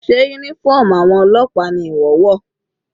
Sé uniform àwọn ọlọ́pàá ni ìwọ wọ̀?